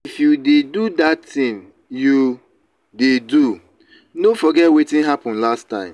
if you dey do dat thing you dey do no forget wetin happen last time.